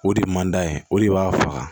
O de ye mand'a ye o de b'a faga